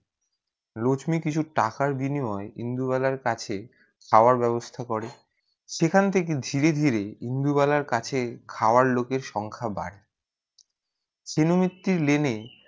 লক্সমী কিছু টাকার বিনিময়ে ইন্দুবালা কাছে খাবার ব্যবস্থা করে সেখান থেকে ধীরে ধীরে ই ইন্দুবালা কাছে খাওয়ার লোকের সংখ্যা বাড়ে তিনোমিত্তির লেনে